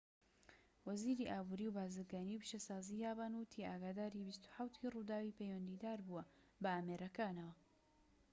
وەزیری ئابوری و بازرگانی و پیشەسازی یابان وتی ئاگاداری ٢٧ ڕووداوی پەیوەندیداربووە بە ئامێرەکانەوە